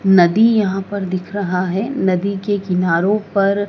नदी यहां पर दिख रहा है नदी के किनारो पर--